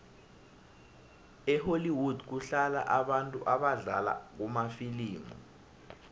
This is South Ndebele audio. ehollwood kuhlala abantu abadlala kumafilimu